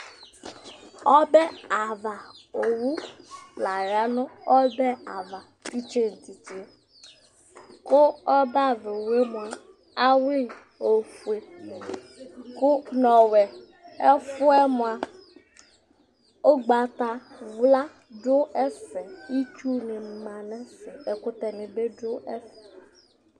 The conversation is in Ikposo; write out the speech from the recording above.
Ɔbɛavaowu laya nu ɔbɛ ava titse titse Ku ɔbɛavaowu awui ofue nu ɔwɛ Ɛfuɛmua ugvatawla ɔdu ɛfɛ itsu nima nɛfɛ ɛkutɛ nibi du ɛfɛ